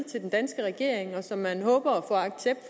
til den danske regering og som man håber